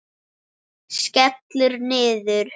Skellur niður.